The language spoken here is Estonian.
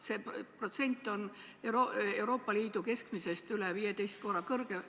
See protsent on Euroopa Liidu keskmisest üle 15 korra kõrgem.